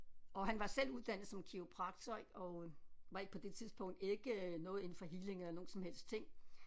Og han var selv uddannet som kiropraktor og var ikke på det tidspunkt ikke noget inden for healing eller nogen som helst ting